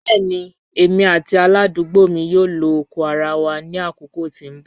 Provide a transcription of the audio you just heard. Bẹẹni emi ati aladugbo mi yoo lo oko ara wa ni akoko ti n bọ.